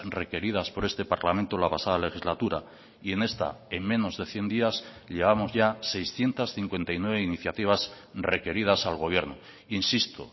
requeridas por este parlamento la pasada legislatura y en esta en menos de cien días llevamos ya seiscientos cincuenta y nueve iniciativas requeridas al gobierno insisto